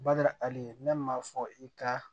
Bada hali ne m'a fɔ i ka